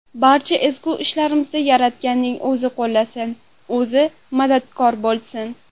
Barcha ezgu ishlarimizda Yaratganning o‘zi qo‘llasin, o‘zi madadkor bo‘lsin!